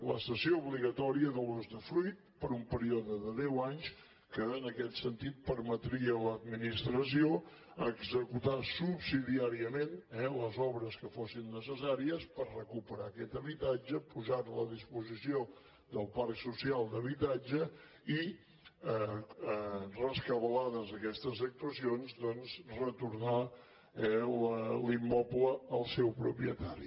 la cessió obligatòria de l’usdefruit per un període de deu anys que en aquest sentit permetria a l’administració executar subsidiàriament eh les obres que fossin necessàries per recuperar aquest habitatge posar lo a disposició del parc social d’habitatge i rescabalades aquestes actuacions doncs retornar l’immoble al seu propietari